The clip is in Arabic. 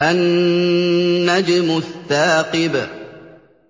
النَّجْمُ الثَّاقِبُ